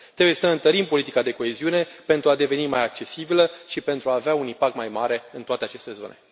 Trebuie să întărim politica de coeziune pentru a deveni mai accesibilă și pentru a avea un impact mai mare în toate aceste zone.